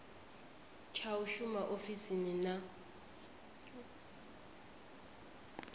tsha u shuma ofisini na